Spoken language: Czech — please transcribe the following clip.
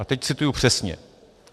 A teď cituji přesně.